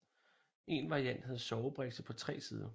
En variant havde sovebrikse på tre sider